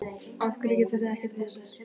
Af hverju gerið þið ekkert í þessu?